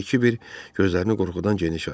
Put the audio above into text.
deyə Kiber gözlərini qorxudan geniş açdı.